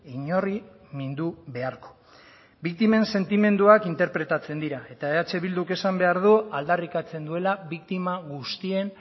inori mindu beharko biktimen sentimenduak interpretatzen dira eta eh bilduk esan behar du aldarrikatzen duela biktima guztien